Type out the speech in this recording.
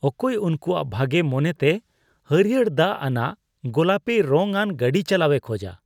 ᱚᱠᱚᱭ ᱩᱝᱠᱩᱣᱟᱜ ᱵᱷᱟᱜᱮ ᱢᱚᱱᱮᱛᱮ ᱦᱟᱹᱲᱭᱟᱹᱲ ᱫᱟᱜ ᱟᱱᱟᱜ ᱜᱳᱞᱟᱯᱤ ᱨᱚᱝᱟᱱ ᱜᱟᱹᱰᱤ ᱪᱟᱞᱟᱣᱮ ᱠᱷᱚᱡᱟ ?